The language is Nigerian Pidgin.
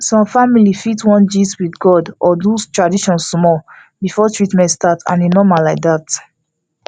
some family fit wan gist with god or do tradition small before treatment start and e normal like that